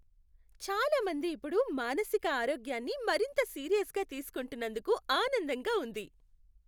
చాలా మంది ఇప్పుడు మానసిక ఆరోగ్యాన్ని మరింత సీరియస్గా తీసుకుంటున్నందుకు ఆనందంగా ఉంది.